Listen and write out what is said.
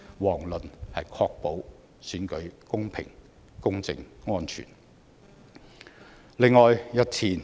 遑論是確保選舉公平、公正、安全。